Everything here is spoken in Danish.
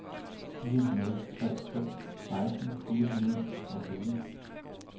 fire nul tre to seksten fire hundrede og fjorten